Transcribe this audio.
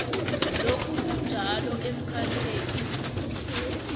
lokhu kunjalo emkhakheni